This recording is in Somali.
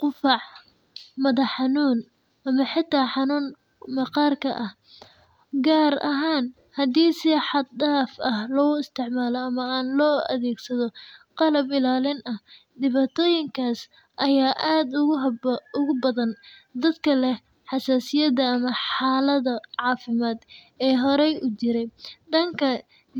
qufac, madax-xanuun ama xitaa cuncun maqaarka ah, gaar ahaan haddii si xad dhaaf ah loo isticmaalo ama aan loo adeegsan qalab ilaalin ah. Dhibaatooyinkaas ayaa aad ugu badan dadka leh xasaasiyad ama xaalado caafimaad oo horey u jiray. Dhanka